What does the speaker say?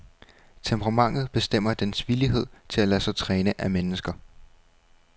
Temperamentet bestemmer dens villighed til at lade sig træne af mennesker.